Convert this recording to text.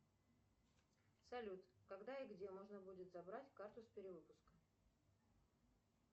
салют когда и где можно будет забрать карту с перевыпуска